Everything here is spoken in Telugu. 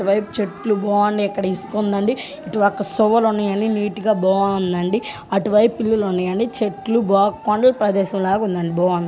అటు వైపు చెట్లు బాగున్నాయి .ఇక్కడ ఇసుక ఉందండి ఇటు ఒక ఉన్నాయండి .నీట్ గా బాగుందండి . అటు వైపు పిల్లులు ఉన్నాయండి .చెట్లు బాగ్ -కొండల ప్రదేశం లాగ ఉంది. అండి బాగుంది.